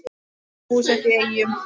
Þau eru búsett í Eyjum.